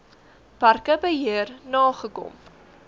parke beheer nagekom